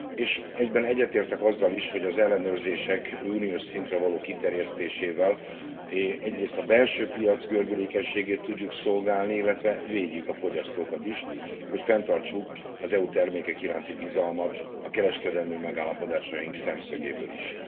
És egyben egyetértek azzal is, hogy az ellenőrzések uniós szintre való kiterjesztésével egyrészt a belső piac gördülékenységét tudjuk szolgálni, illetve védjük a fogyasztókat is, hogy fenntartsuk az EU termékek iránti bizalmat a kereskedelmi megállapodásaink szemszögéből is.